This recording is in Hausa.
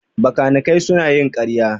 Bakanikai suna yin ƙarya